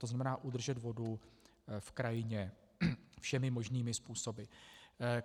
To znamená, udržet vodu v krajině všemi možnými způsoby.